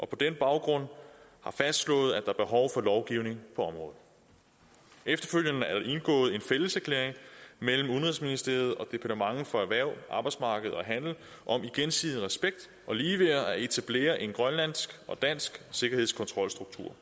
på den baggrund fastslået at er behov for lovgivning på området efterfølgende er der indgået en fælleserklæring mellem udenrigsministeriet og departementet for erhverv arbejdsmarked og handel om i gensidig respekt og ligeværd at etablere en grønlandsk og dansk sikkerhedskontrolstruktur